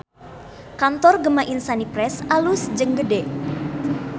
Kantor Gema Insani Press alus jeung gede